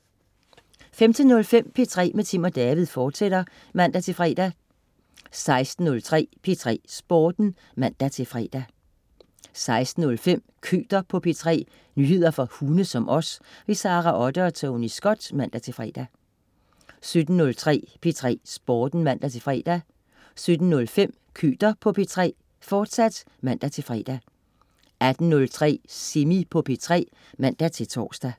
15.05 P3 med Tim & David, fortsat (man-fre) 16.03 P3 Sporten (man-fre) 16.05 Køter på P3. nyheder for hunde som os. Sara Otte og Tony Scott (man-fre) 17.03 P3 Sporten (man-fre) 17.05 Køter på P3, fortsag (man-fre) 18.03 Semi på P3 (man-tors)